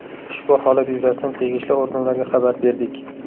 Ushbu holat yuzasidan tegishli organlarga xabar berdik.